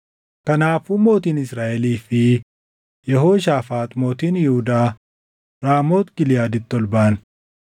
Kanaafuu mootiin Israaʼelii fi Yehooshaafaax mootiin Yihuudaa Raamooti Giliʼaaditti ol baʼan.